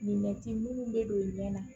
minnu bɛ don i ɲɛ na